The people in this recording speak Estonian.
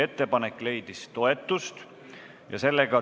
Ettepanek leidis toetust.